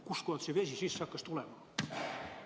Kust see vesi sisse hakkas tulema?